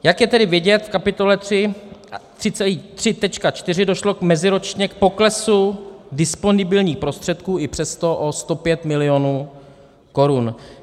Jak je tedy vidět v kapitole 3.4, došlo meziročně k poklesu disponibilních prostředků i přesto o 105 milionů korun.